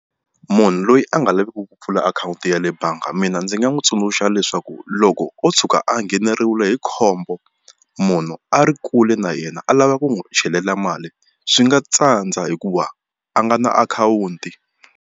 Munhu loyi a nga laveki ku pfula akhawunti ya le bangi mina ndzi nga n'wi tsundzuxa leswaku loko o tshuka a ngheneriwile hi khombo munhu a ri kule na yena a lava ku n'wi chelela mali swi nga tsandza hikuva a nga na akhawunti.